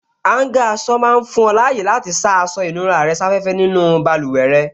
Áúngà aṣọ máa fún ọ láyè àti sá aṣọ ìnura rẹ̀ sáfẹ́fẹ́ nínú báluwẹ̀ rẹ